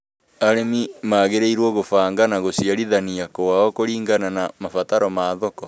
Arĩmi magĩrĩirũo gũbanga gũciarithania kũao kũringana na mabataro ma thoko.